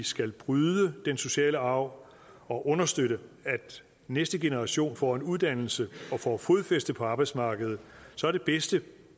skal bryde den sociale arv og understøtte at næste generation får en uddannelse og får fodfæste på arbejdsmarkedet så er det bedste